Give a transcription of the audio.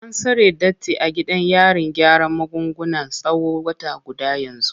An tsare Datti a gidan yarin gyaran magunguna tsawon wata guda yanzu.